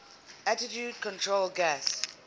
attitude control gas